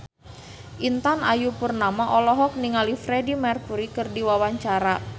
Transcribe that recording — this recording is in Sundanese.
Intan Ayu Purnama olohok ningali Freedie Mercury keur diwawancara